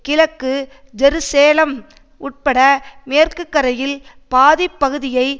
கிழக்கு ஜெருசேலம் உட்பட மேற்கு கரையில் பாதி பகுதியை